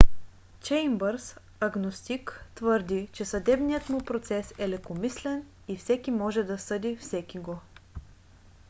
чеймбърс агностик твърди че съдебният му процес е лекомислен и всеки може да съди всекиго